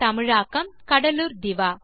தமிழாக்கம் கடலூர் திவா